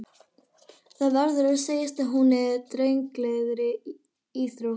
Það verður að segjast að hún er drengilegri íþrótt.